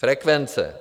Frekvence.